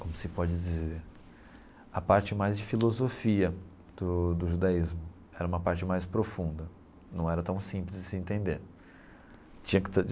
como se pode dizer, a parte mais de filosofia do do judaísmo, era uma parte mais profunda, não era tão simples de se entender tinha que.